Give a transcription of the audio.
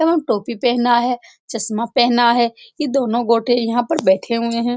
एवं टोपी पहना हैं चश्मा पहना हैं ये दोनों गोटे यहाँ पर बैठे हुए हैं।